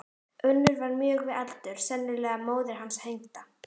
Önnur var mjög við aldur, sennilega móðir hins hengda.